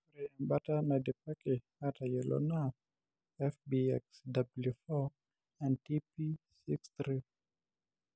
ore ebata naidipaki aatayiolo naa ;FBXW4 and TP63.